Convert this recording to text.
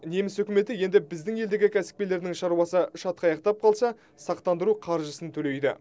неміс үкіметі енді біздің елдегі кәсіпкерлерінің шаруасы шатқаяқтап қалса сақтандыру қаржысын төлейді